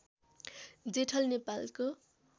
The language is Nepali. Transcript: जेठल नेपालको